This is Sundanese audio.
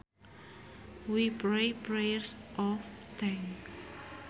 We prayed prayers of thanks